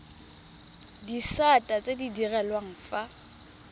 disata tse di direlwang fa